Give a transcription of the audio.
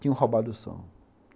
Tinham roubado o som.